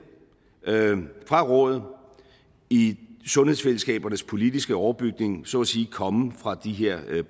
fra rådet i sundhedsfællesskabernes politiske overbygning så at sige komme fra de her